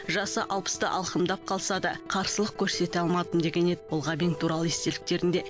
жасы алпысты алқымдап қалса да қарсылық көрсете алмадым деген еді бұл ғабең туралы естеліктерінде